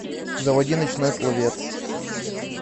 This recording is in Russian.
заводи ночной пловец